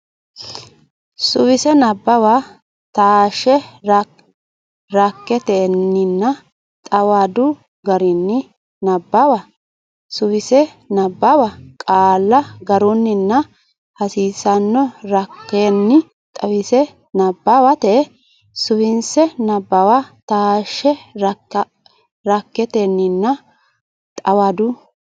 Suwise Nabbawa taashshe ranketenninna xawadu garinni nabbawa Suwise nabbawa qaalla garunninna hasiissanno rankenni xawinse nabbawate Suwise Nabbawa taashshe ranketenninna xawadu.